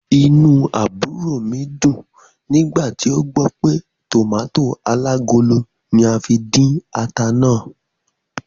Inú àbúrò mi dùn nígbà tí ó gbọ́ pé tòmàtó alágolo ní a fi dín ata náà.